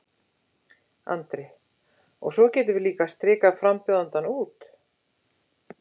Andri: Og svo getum við líka strikað frambjóðandann út?